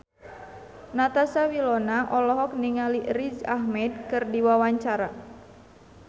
Natasha Wilona olohok ningali Riz Ahmed keur diwawancara